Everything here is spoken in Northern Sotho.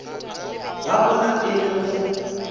ba bona e le go